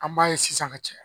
An b'a ye sisan ka caya